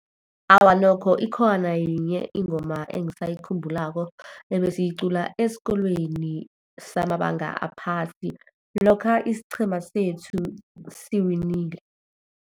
Awa nokho ikhona yinye ingoma engisayikhumbulako ebesiyicula esikolweni samabanga aphasi, lokha isiqhema sethu siwinile.